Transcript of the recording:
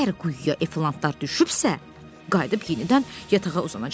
Əgər quyuya Eflantlar düşübsə, qayıdıb yenidən yatağa uzanacaq.